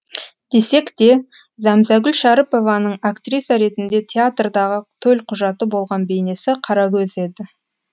десек те зәмзәгүл шәріпованың актриса ретінде театрдағы төлқұжаты болған бейнесі қарагөз еді